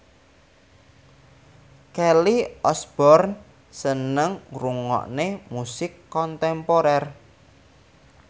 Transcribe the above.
Kelly Osbourne seneng ngrungokne musik kontemporer